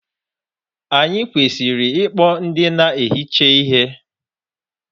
Anyị kwesịrị ịkpọ ndị na-ehicha ihe.